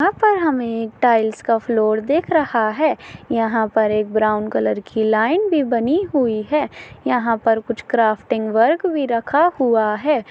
यहाँ पर हमे टाइल्स का फ्लोर दिख रहा है यहाँ पर एक ब्राउन कलर की लाइन भी बनी हुई है यहाँ पर कुछ क्राफ्टिंग वर्क भी रखा हुआ है।